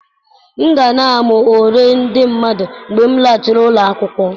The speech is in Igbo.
M ga na-amụ uri ndị mmadụ mgbe m laghachiri ụlọ akwụkwọ.